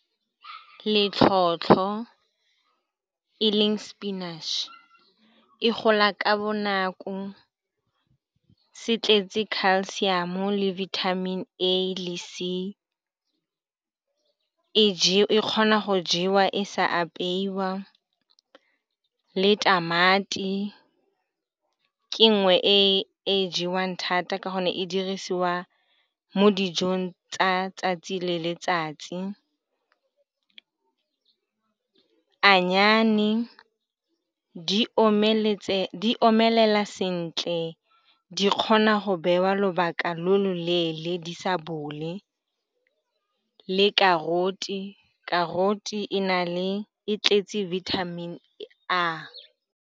Letlhotlho, e leng sepinatšhe, se gola ka bonako. Se tletse Calcium, O le vitamin A le vitamin C, e.g e ka jewa e sa apeiwa. Le tamati ke nngwe e e jewang thata ka gonne e dirisiwa mo dijong tsa letsatsi le letsatsi. Annyane di omeletse, di omelela sentle, di kgona go beiwa lobaka lo loleele di sa bole. Le carrot, carrot e na le, e tletse vitamin A.